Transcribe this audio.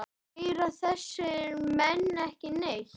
Heyra þessir menn ekki neitt?